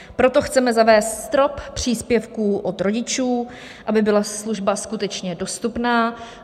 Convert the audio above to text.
Proto chceme zavést strop příspěvků od rodičů, aby byla služba skutečně dostupná.